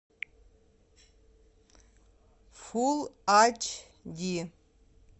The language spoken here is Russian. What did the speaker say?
фул ач ди